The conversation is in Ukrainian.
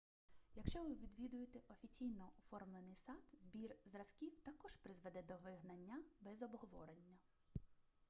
якщо ви відвідуєте офіційно оформлений сад збір зразків також призведе до вигнання без обговорення